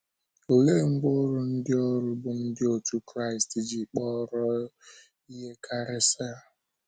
Olee ngwá ọrụ ndị ọrụ bụ́ ndị otú Kraịst ji kpọrọ ihe karịsịa?